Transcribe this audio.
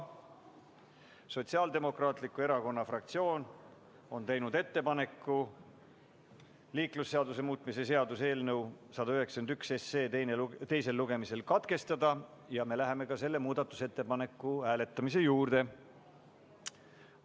Sotsiaaldemokraatliku Erakonna fraktsioon on teinud ettepaneku liiklusseaduse muutmise seaduse eelnõu 191 teisel lugemisel katkestada ja me läheme selle muudatusettepaneku hääletamise juurde.